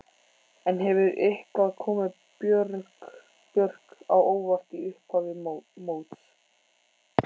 En hefur eitthvað komið Björk á óvart í upphafi móts?